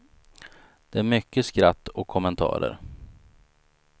Det är mycket skratt och kommentarer.